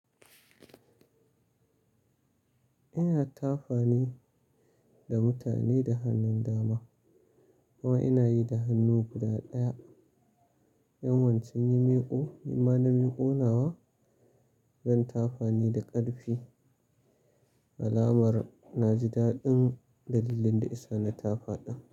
Ina tafane da mutane da hannun dama domin ina yi da hannu guda ɗaya. In wancan yi miƙo, yi malamin ƙonawa zan tafani da ƙarfi. Alamar na ji daɗin dalilin da isa na tafaɗan.